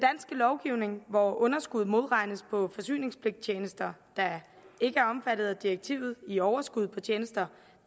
lovgivning hvor underskud modregnes på forsyningspligttjenester der ikke er omfattet af direktivet i overskud på tjenester